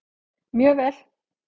Mjög vel!